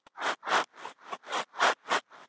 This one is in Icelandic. Á miðöldum, er Tyrkir réðu verulegum hluta